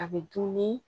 A bɛ dun ni